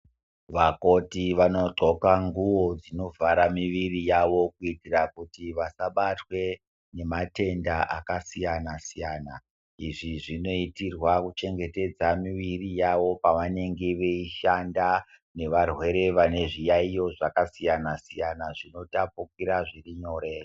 Vakoti vanodxoka nguwo dzinovhara miviri yavo. Kuitira kuti vasabatwa ngematenda akasiyana-siyana. Izvi zvinoitirwa kuchengetedza miviri yavo pavanenge veishanda nevarwere vane zviyaiyo zvakasiyana-siyana zvinotapukira zviri nyore.